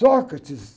Sócrates.